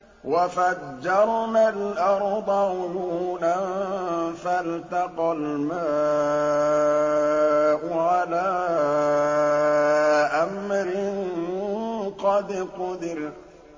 وَفَجَّرْنَا الْأَرْضَ عُيُونًا فَالْتَقَى الْمَاءُ عَلَىٰ أَمْرٍ قَدْ قُدِرَ